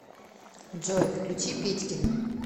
джой включи петькино